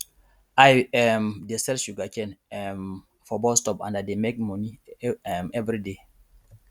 i um dey sell sugarcane um for bus stop and i dey make money um everyday